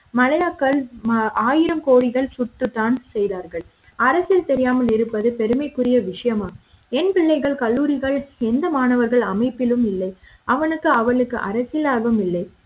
மல்லையாக்கள் ஆயிரம் கோடிகள் சுடத்தான் செய்தார்கள் அரசியல் தெரியாமல் இருப்பது பெருமைக்குரிய விஷயமா என் பிள்ளைகள் கல்லூரிகள் எந்த மாணவர்கள் அமைப்பிலும் இல்லை அவனுக்கு அவளுக்கு அரசியல் ஆர்வம் இல்லை.